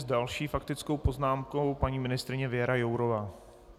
S další faktickou poznámkou paní ministryně Věra Jourová.